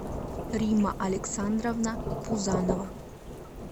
римма александровна пузанова